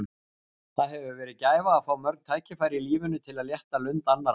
Það hefur verið gæfa að fá mörg tækifæri í lífinu til að létta lund annarra.